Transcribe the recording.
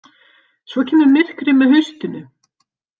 Svo kemur myrkrið með haustinu.